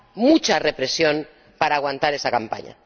mucha represión para aguantar esa campaña.